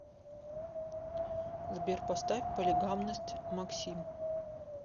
сбер поставь полигамность максим